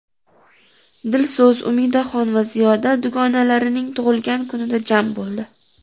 Dilso‘z, Umidaxon va Ziyoda dugonalarining tug‘ilgan kunida jam bo‘ldi.